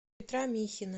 петра михина